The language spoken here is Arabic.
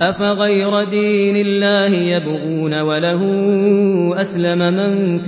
أَفَغَيْرَ دِينِ اللَّهِ يَبْغُونَ وَلَهُ أَسْلَمَ مَن